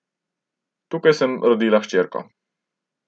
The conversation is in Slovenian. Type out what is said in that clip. Tukaj sem rodila hčerko.